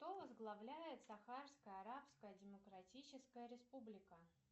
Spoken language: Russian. кто возглавляет сахарская арабская демократическая республика